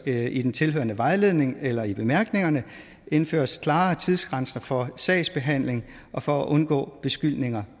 der i den tilhørende vejledning eller i bemærkningerne indføres klare tidsgrænser for sagsbehandling og for at undgå beskyldninger